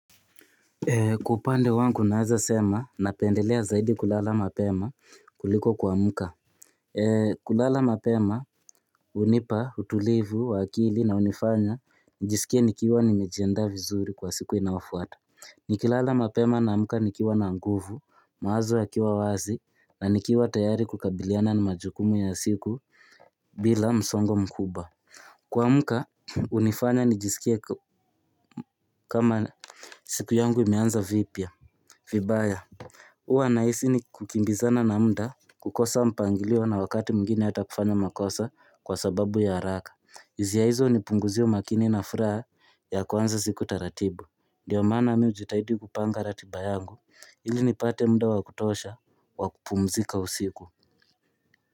Kwa upande wangu naeza sema napendelea zaidi kulala mapema kuliko kuamka. Kulala mapema unipa utulivu wa akili na unifanya njisikie nikiwa nimejiandaa vizuri kwa siku inayofuata. Nikilala mapema naamka nikiwa na nguvu mawazo yakiwa wazi na nikiwa tayari kukabiliana na majukumu ya siku bila msongo mkuba. Kuamka unifanya njisikie kama siku yangu imeanza vipya. Vibaya huwa nahisi ni kukimbizana na mda kukosa mpangilio na wakati mwigine hata kufanya makosa kwa sababu ya haraka izia izo unipunguzia umakini na furaa ya kuanza siku taratibu Ndiyo maana mi ujitahidi kupanga ratiba yangu ili nipate mda wa kutosha wa kupumzika usiku.